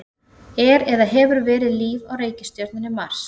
Er eða hefur verið líf á reikistjörnunni Mars?